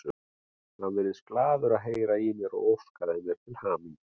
Hann virtist glaður að heyra í mér og óskaði mér til hamingju.